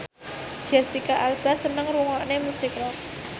Jesicca Alba seneng ngrungokne musik rock